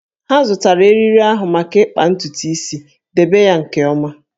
Ha zụtara eriri ahụ maka ịkpa ntutu isi, debe ya nke ọma!